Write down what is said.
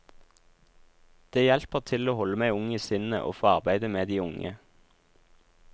Det hjelper til å holde meg ung i sinnet å få arbeide med de unge.